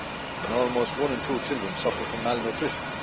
and almost one in two children suffer from malnutrition.